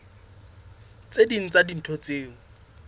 tse ding tsa dintho tseo